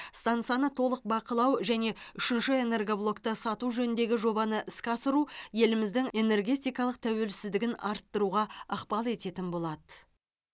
стансаны толық бақылау және үшінші энергоблокты сату жөніндегі жобаны іске асыру еліміздің энергетикалық тәуелсіздігін арттыруға ықпал ететін болады